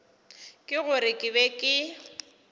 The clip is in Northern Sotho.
ke gore ke be ke